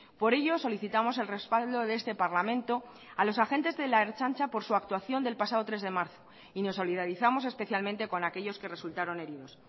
por ello solicitamos el respaldo de este parlamento a los agentes de la ertzaintza por su actuación del pasado tres de marzo y nos solidarizamos especialmente con aquellos que resultaron heridos